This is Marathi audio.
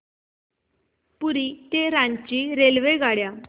पुरी ते रांची रेल्वेगाड्या